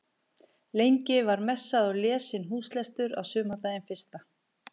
Lengi var messað og lesinn húslestur á sumardaginn fyrsta.